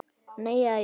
Nei. eða jú!